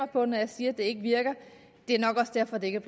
på når jeg siger at det ikke virker det er nok også derfor det ikke